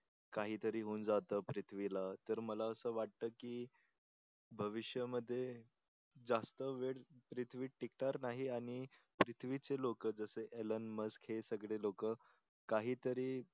काही तरी होऊन जात पृथ्वी ला तर मला आस वाटत की भविष्यामध्ये जास्त वेळ पृथ्वी टिकणार नाही आणि पृथ्वीचे लोक जसे आयलन मस्क हे सगळे लोक काहीतरी